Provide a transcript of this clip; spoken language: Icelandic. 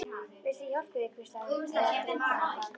Viltu ég hjálpi þér, hvíslaði hann- eða dreymdi hana það?